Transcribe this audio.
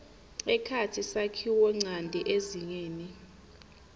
ekhatsi sakhiwonchanti ezingeni